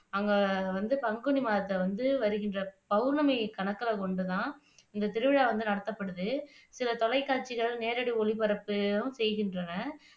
அங்க வந்து பங்குனி மாதத்துல வந்து வருகின்ற பௌர்ணமி கணக்குல கொண்டுதான் இந்த திருவிழா வந்து நடத்தப்படுது சில தொலைக்காட்சிகள் நேரடி ஒளிபரப்பும் செய்கின்றன